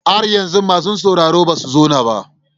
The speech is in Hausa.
A'a, har yanzu masu sauraro ba su zauna ba.